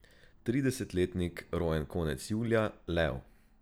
Tridesetletnik, rojen konec julija, lev.